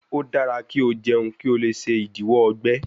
O dara ki o jẹun ki o le ṣe idiwọ ọgbẹ